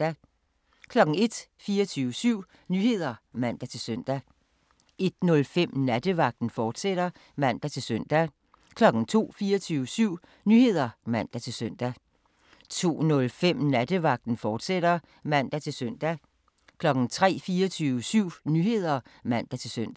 01:00: 24syv Nyheder (man-søn) 01:05: Nattevagten, fortsat (man-søn) 02:00: 24syv Nyheder (man-søn) 02:05: Nattevagten, fortsat (man-søn) 03:00: 24syv Nyheder (man-søn)